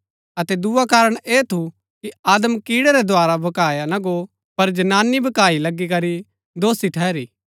अतै दुआ कारण ऐह थू कि आदम कीड़ै रै द्धारा भकाआ ना गो पर जनानी भकाई लगी करी दोषी ठहरी